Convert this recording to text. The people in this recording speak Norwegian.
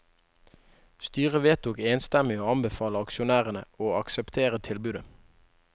Styret vedtok enstemmig å anbefale aksjonærene å akseptere tilbudet.